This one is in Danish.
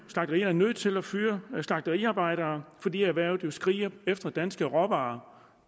er nødt til at fyre slagteriarbejdere fordi erhvervet jo skriger efter danske råvarer